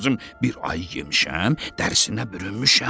Bir ay yemişəm, dərsinə bürünmüşəm.